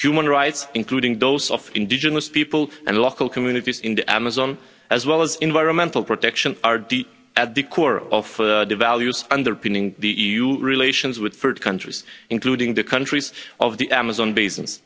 Human rights, including those of indigenous people, and local communities in the Amazon, as well as environmental protection are at the core of the values underpinning the EU relations with third countries, including the countries of the Amazon basin.